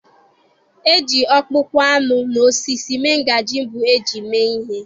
E ji ọkpụkpụ anụ na osisi mee ngaji mbụ e ji mee ihe.